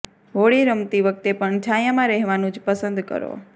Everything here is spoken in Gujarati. હોળી રમતી વખતે પણ છાંયામાં રહેવાનું જ પસંદ કરો